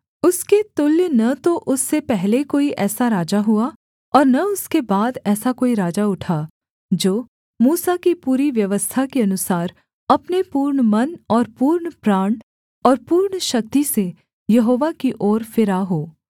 उसके तुल्य न तो उससे पहले कोई ऐसा राजा हुआ और न उसके बाद ऐसा कोई राजा उठा जो मूसा की पूरी व्यवस्था के अनुसार अपने पूर्ण मन और पूर्ण प्राण और पूर्ण शक्ति से यहोवा की ओर फिरा हो